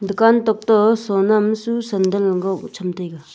dukan tok to sonam susan dan le go cham taiga.